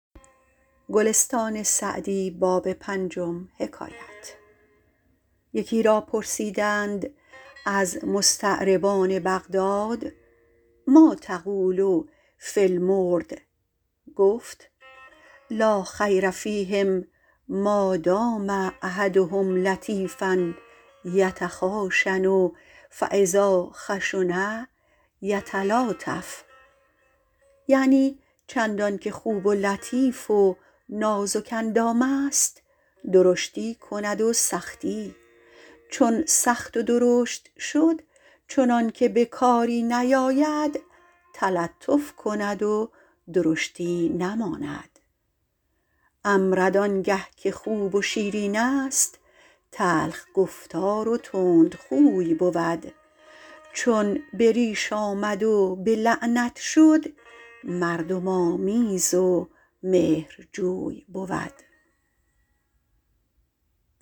یکی را پرسیدند از مستعربان بغداد مٰا تقول فی المرد گفت لا خیر فیهم مادام احدهم لطیفا یتخاشن فاذا خشن یتلاطف یعنی چندان که خوب و لطیف و نازک اندام است درشتی کند و سختی چون سخت و درشت شد چنان که به کاری نیاید تلطف کند و درشتی نماند امرد آن گه که خوب و شیرین است تلخ گفتار و تندخوی بود چون به ریش آمد و به لعنت شد مردم آمیز و مهرجوی بود